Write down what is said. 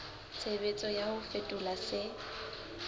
tshebetso ya ho fetola se